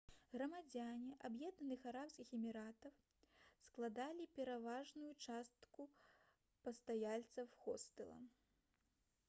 грамадзяне аб'яднаных арабскіх эміратаў складалі пераважную частку пастаяльцаў хостэла